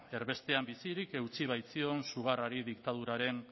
erbestean bizirik eutsi baitzion sugarrari diktaduraren